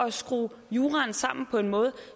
at skrue juraen sammen på en måde